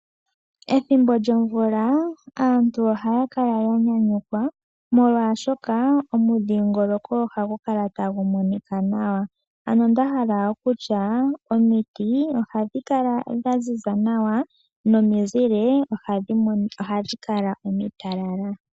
Ethimbo lyomvula aantu ohaya kala yanyayukwa, molwaashoka omudhingoloko ohagu kala tagu monika nawa . Ano ndahala okutya omiti ohadhi kala dhaziza nawa momizile ohadhi kala omitalala.